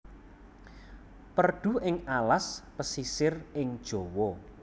Perdu ing alas pesisir ing Jawa